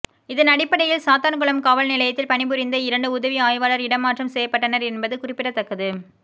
இதன் அடிப்படையில் சாத்தான்குளம் காவல் நிலையத்தில் பணிபுரிந்த இரண்டு உதவி ஆய்வாளர் இடமாற்றம் செய்யப்பட்டனர் என்பது குறிப்பிடத்தக்கது